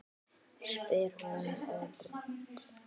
spyr hún örg.